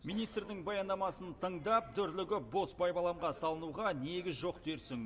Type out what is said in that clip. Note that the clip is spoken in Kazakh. министрдің баяндамасын тыңдап дүрлігіп бос байбаламға салынуға негіз жоқ дерсің